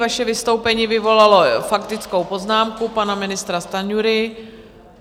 Vaše vystoupení vyvolalo faktickou poznámku pana ministra Stanjury.